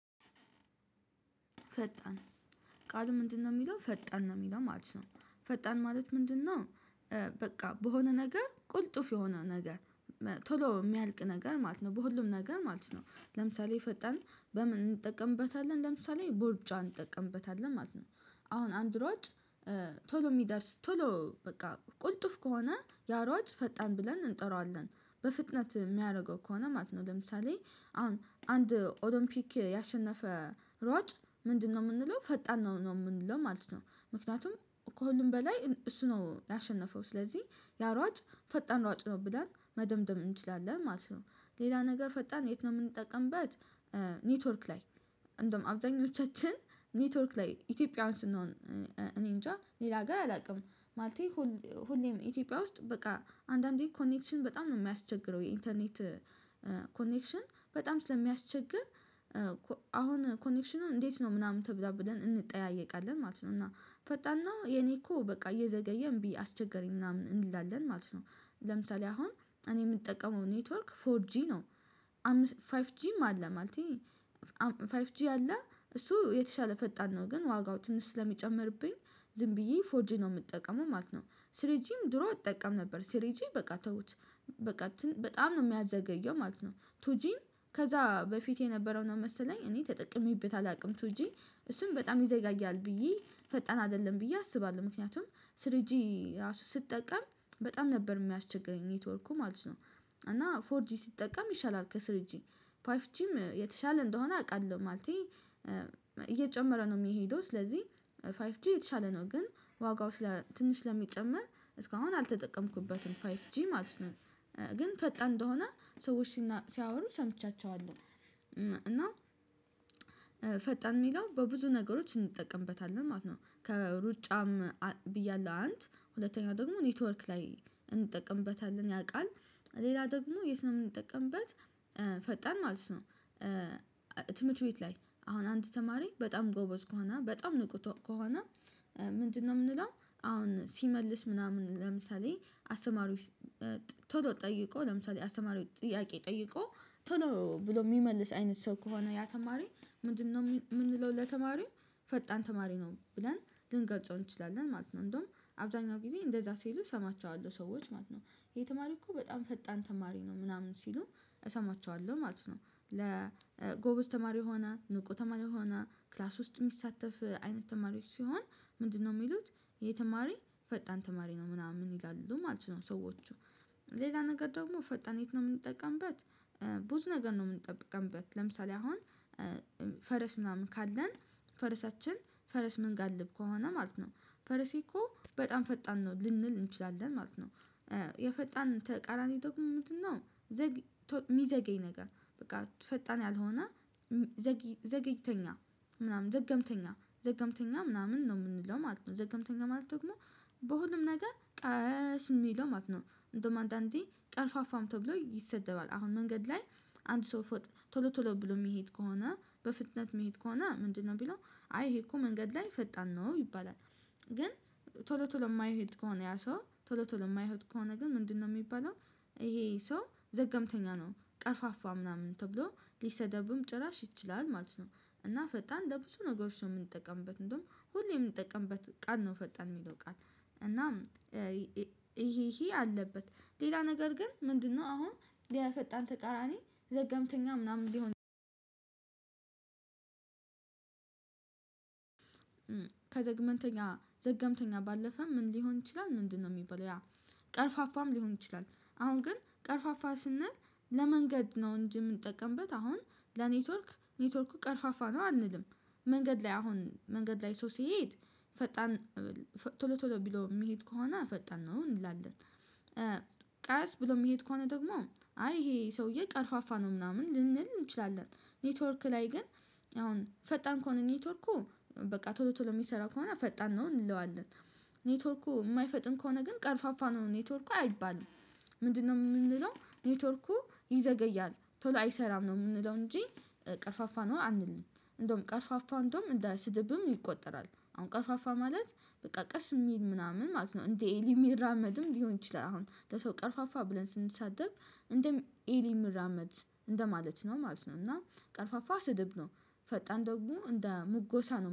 ፈጣን ቃል ምንድነው የሚለው ፈጣን ነው የሚለው ማለት ነው ፈጣን ማለት ምንድነው? በቃ በሆነ ነገር ቁልጥፍ የሆነ ነገር ቶሎ የሚያልቅ ነገር ማለት ነው በሁሉም ነገር ማለት ነው። ለምሳሌ ፈጣን በምን እንጠቀምበታለን ለምሳሌ በሩጫ እንጠቀምበታለን ማለት ነው። አሁን አንድ ሯጭ ቶሎ የሚደርስ ቶሎ በቃ ቁልጥፍ ከሆነ ያሯጭ ፈጣን ብለን እንጠራዋለን። በፍጥነት የሚያደርገው ከሆነ ማለት ነው። ለምሳሌ አሁን አንድ ኦሎምፒክ ያሸነፈ ሯጭ ምንድነው የምንለው ፈጣን ነው የምንለው ማለት ነው። ምክንያቱም ከሁሉም በላይ እሱ ነው ያሸነፈው ስለዚህ ያሯጭ ፈጣን ሯጭ ነው ብለን መደምደም እንችላለን ማለት ነው። ሌላ ነገር ፈጣን የት ነው የምንጠቀምበት? ኔትወርክ ላይ እንደውም አብዛኞቻችን ኔትወርክ ላይ ኢትዮጵያውያን ስንሆን እኔ እንጃ ሌላ ሀገር አላውቅም። ማለቴ ሁሌም ኢትዮጵያ ውስጥ በቃ አንዳንዴ ኮኔክሽን በጣም ነው የሚያስቸግረው የኢንተርኔት ኮኔክሽን በጣም ስለሚያስቸግር። አሁን ኮኔክሽኑ እንዴት ነው ምናምን ተብላ ብለን እንጠያየቃለን ማለት ነው። እና ፈጣን ነው የኔ እኮ በቃ እየዘገየን እንቢ አስቸገረኝ ምናምን እንላለን ማለት ነው። ለምሳሌ አሁን እኔ የምጠቀመው ኔትወርክ ፎር ጂ ነው። አም ፋይፍ ጂም አለ ማለቴ። ፋይፍ ጂ አለ እሱ የተሻለ ፈጣን ነው ግን ዋጋው ትንሽ ስለሚጨምርብኝ ዝም ብዬ ፎርጂ ነው የምጠቀመው ማለት ነው። ስሪጂም ድሮ እጠቀም ነበር ስሪጂ በቃ ተውት። በቃ በጣም ነው የሚያዘገየው ማለት ነው። ቱጂ ከዛ በፊት የነበረው ነው መሰለኝ እኔ ተጠቅሜበት አላውቅም። ቱጂ እሱን በጣም ይዘጋጃል ብዬ ፈጣን አይደለም ብዬ አስባለሁ። ምክንያቱም ስሪጂ ራሱ ስጠቀም በጣም ነበር የሚያስቸግረኝ ኔትወርኩ ማለት ነው። እና ፎር ጂ ሲጠቀም ይሻላል ከስር ጂ ፓይፍ ጂም የተሻለ እንደሆነ አውቃለሁ። ማለቴ እየጨመረ ነው የሚሄደው ስለዚህ ፋይፍ ጂ የተሻለ ነው ግን ዋጋው ስለ ትንሽ ስለሚጨመር እስካሁን አልተጠቀምኩበትም ፋይት ጂ ማለት ነው። ግን ፈጣ እንደሆነ ሰዎች ሲያወሩ ሰምቻቸዋለሁ። እና ፈጣን የሚለው በብዙ ነገሮች እንጠቀምበታለን ማለት ነው። ከሩጫም ብያለሁ አንድ ሁለተኛ ደግሞ ኔትወርክ ላይ እንጠቅምበታለን ያን ቃል። ሌላ ደግሞ የት ነው ምንጠቀምበት? ፈጣን ማለት ነው። ትምህርት ቤት ላይ አሁን አንድ ተማሪ በጣም ጎበዝ ከሆነ በጣም ንቁ ከሆነ። ምንድነው የምንለው? አሁን ሲመልስ ምናምን ለምሳሌ አስተማሪዎች ቶሎ ጠይቆ ለምሳሌ አስተማሪዎች ጥያቄ ጠይቆ ቶሎ ብሎ የሚመልስ አይነት ሰው ከሆነ ያ ተማሪ ምንድነው የምንለው ለተማሪው ፈጣን ተማሪ ነው ብለን ልንገጸው እንችላለን ማለት ነው። እንደውም አብዛኛው ጊዜ እንደዛ ሲሉ እሰማቸዋለሁ ሰዎች ማለት ነው። ይሄ ተማሪ እኮ በጣም ፈጣን ተማሪ ነው ምናምን ሲሉ እሰማቸዋለሁ ማለት ነው። ለጎበዝ ተማሪ የሆና ንቁ ተማሪ የሆና ክላስ ውስጥ የሚሳተፍ አይነት ተማሪዎች ሲሆን ምንድነው የሚሉት? ይሄ ተማሪ ፈጣን ተማሪ ነው ምናምን ይላሉ ማለት ነው። ሰዎቹ ሌላ ነገር ደግሞ ፈጣን የት ነው የምንጠቀምበት? ብዙ ነገር ነው የምንጠብቀንበት ለምሳሌ አሁን ፈረስ ምናምን ካለን ፈረሳችን ፈረስ ምንጋልብ ከሆነ ማለት ነው። ፈረሴ እኮ በጣም ፈጣን ነው ልንል እንችላለን ማለት ነው። የፈጣን ተቃራኒ ደግሞ ምንድነው? የሚዘገይ ነገር በቃ ፈጣን ያልሆነ ዘገግተኛ ምናምን ዘገምተኛ ዘገምተኛ ምናምን ነው የምንለው ማለት ነው። ዘገምተኛ ማለት ደግሞ በሁሉም ነገር ቀስ የሚለው ማለት ነው እንደውም አንዳንዴ ቀርፋፋም ተብሎ ይሰደባል አሁን መንገድ ላይ አንድ ሰው ቶሎ ቶሎ ብሎ የሚሄድ ከሆነ በፍጥነት የሚሄድ ከሆነ ምንድነው ሚለው? አይ ይሄ እኮ መንገድ ላይ ፈጣን ነው ይባላል። ግን ቶሎ ቶሎ የማይሄድ ከሆነ ያ ሰው ቶሎ ቶሎ የማይሆን ከሆነ ግን ምንድነው የሚባለው? ይሄ ሰው ዘገምተኛ ነው ቀርፋፋ ምናምን ተብሎ ሊሰደብም ጭራሽ ይችላል ማለት ነው። እና ፈጣን ለብዙ ነገሮች ነው የምንጠቀምበት እንደውም ሁሌ የምንጠቀምበት ቃል ነው ፈጣን የሚለው ቃል። እና ይሄ ይሄ አለበት ሌላ ነገር ግን ምንድነው አሁን የፈጣን ተቃራኒ ዘገምተኛ ምናምን ልሆን። ከዘግመንተኛ ዘገምተኛ ባለፈ ምን ሊሆን ይችላል ምንድነው የሚባለው? ያ ቀርፋፋም ሊሆን ይችላል። አሁን ግን ቀርፋፋ ስንል ለመንገድ ነው እንጂ የምንጠቀምበት አሁን ለኔትወርክ ኔትወርኩ ቀርፋፋ ነው አንልም። መንገድ ላይ አሁን መንገድ ላይ ሰው ሲሄድ ፈጣን ቶሎ ቶሎ ቢለው የሚሄድ ከሆነ ፈጣን ነው እንላለን። ቃስ ብሎ የሚሄድ ከሆነ ደግሞ አይ ይሄ ሰውዬ ቀርፋፋ ነው ምናምን ልንል እንችላለን። ኔትወርክ ላይ ግን አሁን ፈጣን ከሆነ ኔትወርኩ በቃ ቶሎ ቶሎ የሚሰራ ከሆነ ፈጣን ነው እንለዋለን። ኔትወርኩ የማይፈጥን ከሆነ ግን ቀርፋፋ ነው ኔትወርኩ አይባልም። ምንድነው የምንለው ኔትወርኩ ይዘገያል ቶሎ አይሰራም ነው የምንለው እንጂ። ቀርፋፋ ነው አንልም። እንደውም ቀርፋፋ እንደውም እንዳ ሰድብም ይቆጠራል። አሁን ቀርፋፋ ማለት በቃ ቀስ የሚል ምናምን ማለት ነው እንዴ ኤልም ሚራመድም ሊሆን ይችላል። አሁን ለሰው ቀርፋፋ ብለን ስንሰጠው እንደ ኤሊ ምራመድ እንደማለት ነው ማለት ነው። እና ቀርፋፋ ስድብ ነው። ፈጣን ደግሞ እንደ ሙጎሳ ነው